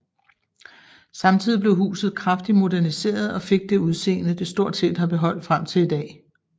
Samtidig blev huset kraftig moderniseret og fik det udseendet det stort set har beholdt frem til i dag